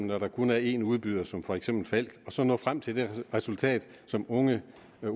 når der kun er en udbyder som for eksempel falck og så nå frem til det resultat som unge